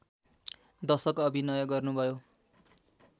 दशक अभिनय गर्नुभयो